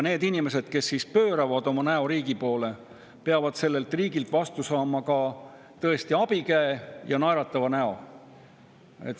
Need inimesed, kes pööravad oma näo riigi poole, peavad riigilt tõesti vastu saama abikäe ja naeratava näo.